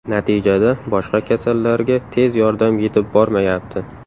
Natijada boshqa kasallarga tez yordam yetib bormayapti.